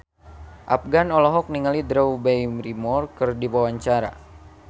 Afgan olohok ningali Drew Barrymore keur diwawancara